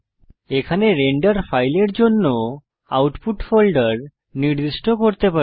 এখানে রেন্ডার ফাইলের জন্য আউটপুট ফোল্ডার নির্দিষ্ট করতে পারি